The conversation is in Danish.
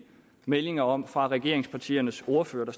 meldinger om fra regeringspartiernes ordførere